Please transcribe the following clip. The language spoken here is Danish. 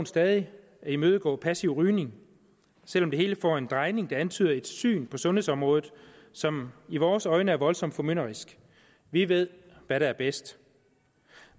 stadig at imødegå passiv rygning selv om det hele får en drejning der antyder et syn på sundhedsområdet som i vores øjne er voldsomt formynderisk vi ved hvad der er bedst